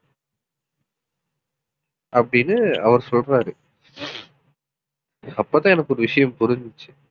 அப்படின்னு அவர் சொல்றாரு அப்பதான் எனக்கு ஒரு விஷயம் புரிஞ்சுச்சு